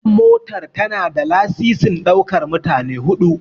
Wannan motar tana da lasisin ɗaukar mutane 4.